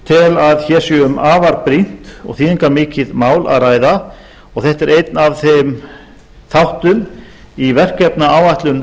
tel að hér sé um afar brýnt og þýðingarmikið mál að ræða og þetta er einn af þeim þáttum í verkefnaáætlun